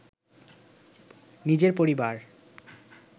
নিজের পরিবার